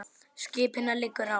Skipinu liggur á.